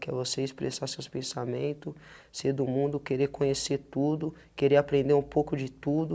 Que é você expressar seus pensamento, ser do mundo, querer conhecer tudo, querer aprender um pouco de tudo,